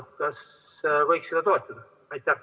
Mis sa arvad, kas võiks seda toetada?